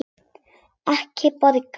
Ég borga.